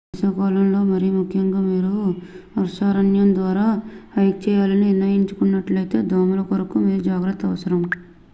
వేసవికాలంలో మరిముఖ్యంగా మీరు వర్షారణ్యం ద్వారా హైక్ చేయాలని నిర్ణయించుకున్నట్లయితే దోమలకొరకు మీరు జాగ్రత్త అవసరం